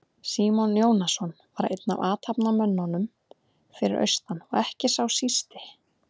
Símon Jónasson var einn af athafnamönnunum fyrir austan og ekki sá sísti.